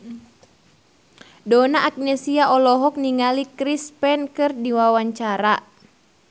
Donna Agnesia olohok ningali Chris Pane keur diwawancara